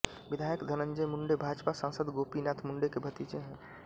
विधायक धनंजय मुंडे भाजपा सांसद गोपीनाथ मुंडे के भतीजे है